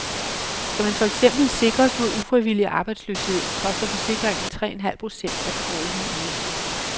Skal man for eksempel sikres mod ufrivillig arbejdsløshed, koster forsikringen tre en halv procent af den årlige ydelse.